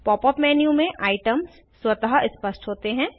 pop up menu में items स्वतः स्पष्ट होते हैं